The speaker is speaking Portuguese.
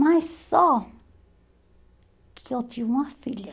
Mas só que eu tinha uma filha.